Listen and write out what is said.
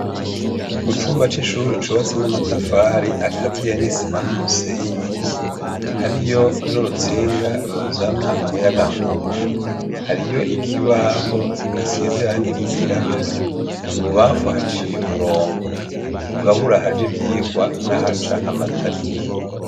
Mu cumba c'ishure cubatse n'amatafari akaziye n'isima n'umusenyi, hariyo n'urutsinga ruzana umuyagankuba, hariyo ikibaho gisize irangi ry'irabura, ibubamfu haciye umurongo ugabura ahaja ivyigwa n'ahaja amatariki.